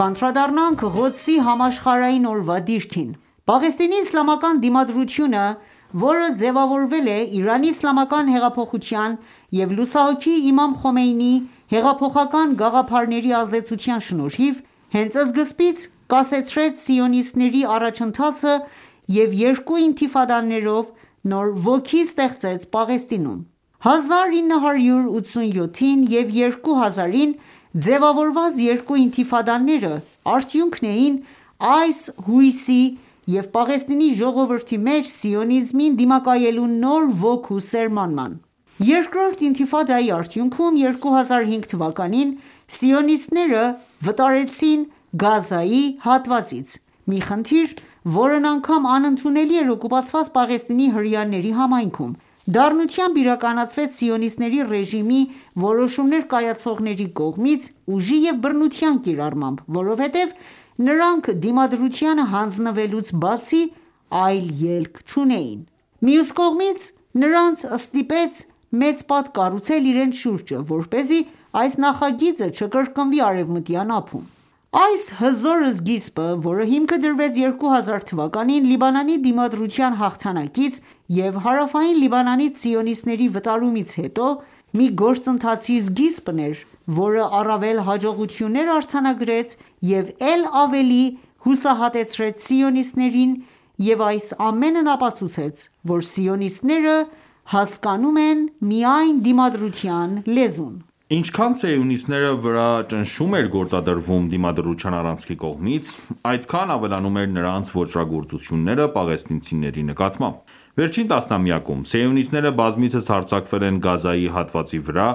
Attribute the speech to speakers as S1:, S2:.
S1: անդրադառնանք Ղոդսի համաշխարհային օրվա դիրքին: Պաղեստինի իսլամական դիմադրությունը, որը ձևավորվել է Իրանի իսլամական հեղափոխության և լուսահոգի Իմամ Խոմեյնիի հեղափոխական գաղափարների ազդեցության շնորհիվ, հենց սկզբից կասեցրեց սիոնիստների առաջընթաը և երկու ինթիդաֆաներով նոր ոգի ստեղծեց Պաղեստինում: 1987-ին և 2000-ին ձևավորված երկու ինթիֆադաները արդյունքն էին՝այս հույսի և Պաղեստինի ժողովրդի մեջ, սիոնիզմին դիմակայելու նոր ոգու սերմանման:Երկրորդ արդյունքում ՝2005 թվականին, սիոնիստները վտարվեցին Գազայի հատվածից, մի խնդիր, որն անգամ անընդունելի էր օկուպացված Պաղեստինի հրեաների համայնքում, դառնությամբ իրականացվեց սիոնիստական ​​ռեժիմի որոշումներ կայացնողների կողմից՝ ուժի և բռնության կիրառմամբ, որովհետև նրանք Դիմադրությանը հանձնվելուց բացի այլ ելք չունեին :Մյուս կողմից, նրանց ստիպեց մեծ պատ կառուցել իրենց շուրջը, որպեսզի այս նախագիծը չկրկնվի Արեւմտյան ափում։ Այս հզոր սկիզբը, որը հիմքը դրվեց 2000 թվականին Լիբանանի դիմադրության հաղթանակից և հարավային Լիբանանից սիոնիստների վտարումից հետո, մի գործընթացի սկիզբն էր, որը առավել հաջողություններ արձանագրեց և էլ ավելի հուսահատեցրեց սիոնիստներին և այս ամենն ապացուցեց, որ սիոնիստները հասկանում են միայն դիմադրության լեզուն։
S2: Ինչքան սիոնիստների վրա ճնշում էր գործադրվում Դիմադրության առանցքի կողմից, այնքան ավելանում էր նրանց ոճրագործությունները պաղեստինցիների նկատմամբ։ Վերջին տասնամյակում, սիոնիստները բազմիցս հարձակվել են Գազայի հատվածի վրա՝